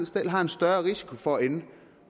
selv har en større risiko for at ende på